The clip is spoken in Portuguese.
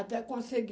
Até consegui.